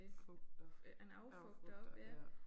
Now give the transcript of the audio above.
Fugter. Affugter ja